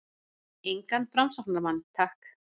Engan framsóknarmann- takk!